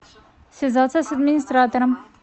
связаться с администратором